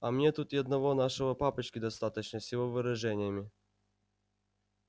а мне тут и одного нашего папочки достаточно с его выражениями